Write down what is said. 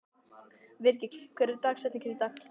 Virgill, hver er dagsetningin í dag?